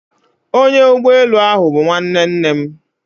Onya ugboelu ahu bu nwanne nne m